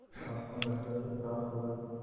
आत्मा लज्जा से परास्त हो गयी